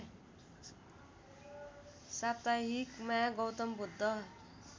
साप्ताहिकमा Gautam Buddha